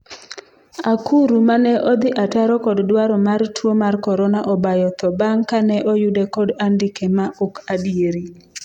Akuru 'mane odhi ataro kod dwaro mar tuo mar korona obayo tho bang' kane oyude kod andike ma ok adieri